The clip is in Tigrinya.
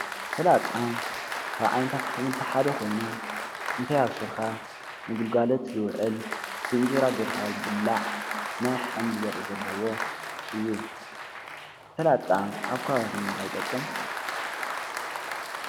ስላጣ ካብ ዓይነታት ኣሕምቲ ሓደ ኾይኑ እንተይኣበስልኻ ንግልጋሎት ዝውዕል ብእንጀራ ጌርካ ዝብላዕ ናይ ሓምሊ ዘርኢ ዘለዎ እዩ። ስላጣ ኣብ ከባቢኹም ንምታይ ይጠቅም?